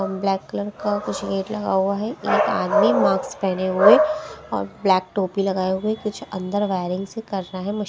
और black colour का कुछ गेट लगा हुआ है एक आदमी मास्क पहने हुए और ब्लैक टोपी लगाए हुए कुछ अंदर वायरिंग्स कर रहा है मुस--